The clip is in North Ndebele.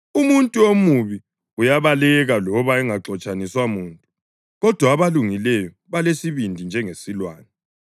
Umuntu omubi uyabaleka loba engaxotshaniswa muntu, kodwa abalungileyo balesibindi njengesilwane.